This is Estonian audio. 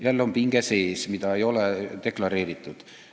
Jälle on sees pinge, mida ei ole deklareeritud.